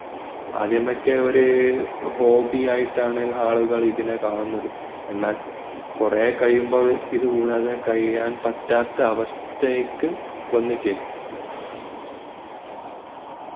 ആദ്യമൊക്ക ഒരു hobby ആയിട്ടാണ് ആളുകൾ ഇതിനെ കാണുന്നത് എന്നാൽ കുറേകഴിയുമ്പോൾ ഇതുകൂടാതെ കഴിയാൻ പറ്റാത്ത അവസ്ഥയ്ക് വന്നുച്ചേരും